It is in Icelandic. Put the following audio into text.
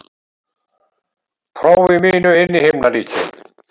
prófi mínu inn í himnaríki.